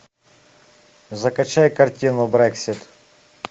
закачай картину брексит